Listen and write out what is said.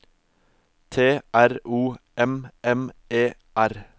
T R O M M E R